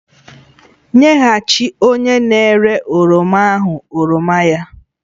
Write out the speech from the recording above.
Nyeghachi onye na-ere oroma ahụ oroma ya!